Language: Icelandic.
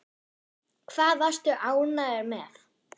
Hvað varstu ánægður með?